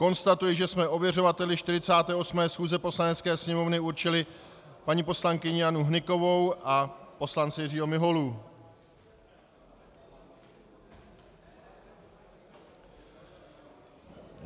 Konstatuji, že jsme ověřovateli 48. schůze Poslanecké sněmovny určili paní poslankyni Janu Hnykovou a poslance Jiřího Miholu.